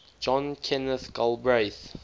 john kenneth galbraith